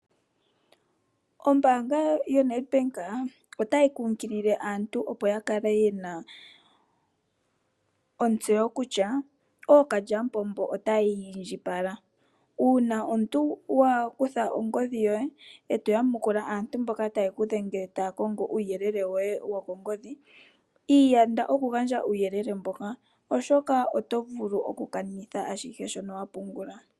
Ombanga yoNedbank otayi kunkilile aantu opo ya kale yena ontseyo kutya okalyamupombo otayi indjipala. Una omuntu wa kutha ongodhi yoye eto yamukula aantu mboka taye kudhengele taya kongo uuyelele woye wokongodhi iyanda oku gandja uuyelele mboka oshoka oto vulu oku kanitha ashihe shono wapungula.